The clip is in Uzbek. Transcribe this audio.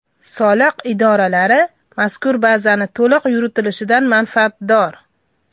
Soliq idoralari mazkur bazaning to‘liq yuritilishidan manfaatdor.